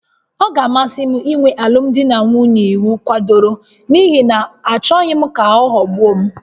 Ọ ga-amasị m inwe alụmdi na nwunye iwu kwadoro n'ihi na achọghị m ka aghọgbuo m